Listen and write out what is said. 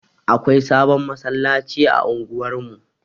Akwai sabon masallaci a unguwar mu.